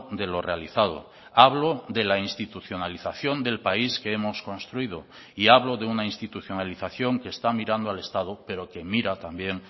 de lo realizado hablo de la institucionalización del país que hemos construido y hablo de una institucionalización que está mirando al estado pero que mira también